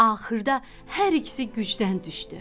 Axırda hər ikisi gücdən düşdü.